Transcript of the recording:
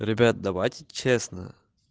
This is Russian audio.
ребят давайте честно